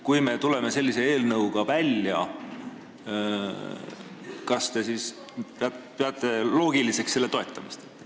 Kui me tuleme sellise eelnõuga välja, siis kas te peate loogiliseks selle toetamist?